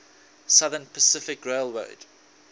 southern pacific railroad